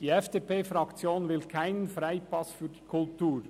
Die FDP-Fraktion will keinen Freipass für die Kultur.